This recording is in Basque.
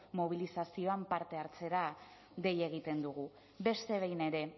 mobilizazioetan parte hartzera dei egiten dugu beste behin ere